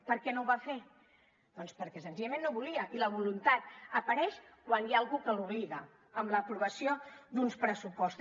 per què no ho va fer doncs perquè senzillament no volia i la voluntat apareix quan hi ha algú que l’obliga amb l’aprovació d’uns pressupostos